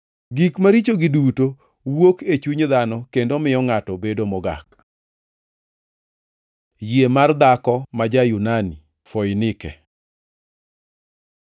Gik marichogi duto wuok e chuny dhano kendo miyo ngʼato bedo mogak.” Yie mar dhako ma ja-Yunani-Foinike